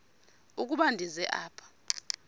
ukuba ndize apha